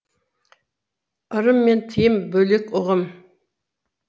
ырым мен тыйым бөлек ұғым